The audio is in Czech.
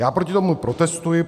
Já proti tomu protestuji.